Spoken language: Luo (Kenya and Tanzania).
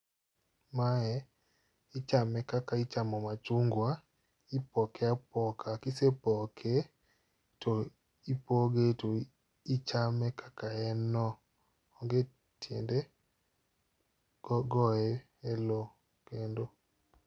Mae ichame kaka ichamo machungwa. Ipoke apoka, kisepoke, to ipoge to ichame kaka en no. Onge tiende goye e lo kendo.